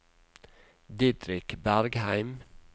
Didrik Bergheim